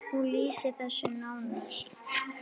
Hún lýsir þessu nánar.